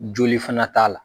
Joli fana t'a la.